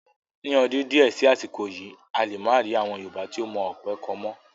Ni ọdún di ẹ sì àsìkò yìí, a lè máa rí àwọn Yorùbá tó mọ ọ̀pẹ kọ mọ́